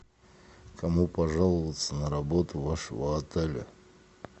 кому пожаловаться на работу вашего отеля